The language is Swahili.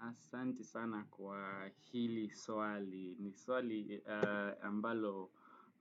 aSanti sana kwa hili swali. Ni swali ambalo